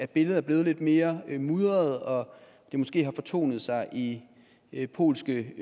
billedet er blevet lidt mere mudret og måske har fortonet sig i i polske